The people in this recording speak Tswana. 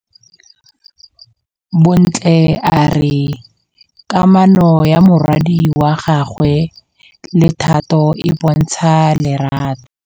Bontle a re kamanô ya morwadi wa gagwe le Thato e bontsha lerato.